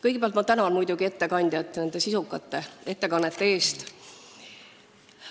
Kõigepealt tänan muidugi ettekandjaid sisukate ettekannete eest!